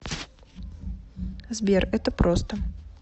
сбер это просто